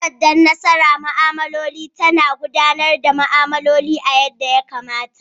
takardan nasara ma'amloli ta na gudanar da ma'amloli a ya da ya kamata.